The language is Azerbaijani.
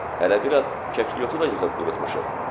Hələ biraz kəklikyotunu da yığıb qurutmuşuq.